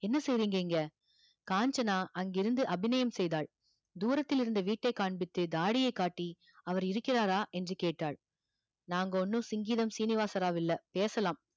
என்ன செய்றீங்க இங்க காஞ்சனா அங்கிருந்து அபிநயம் செய்தால் தூரத்தில் இருந்த வீட்டை காண்பித்து தாடியை காட்டி அவர் இருக்கிறாரா என்று கேட்டால் நாங்க ஒண்ணும் சிங்கிதம் சீனிவாசராவ் இல்லை பேசலாம்